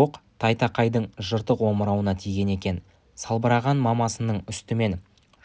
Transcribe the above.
оқ тайтақайдың жыртық омырауына тиген екен салбыраған мамасының үстімен